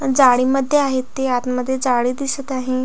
जाळीमद्धे आहेत ते आतमध्ये जाळी दिसत आहे.